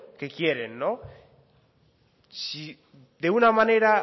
que quieren si de una manera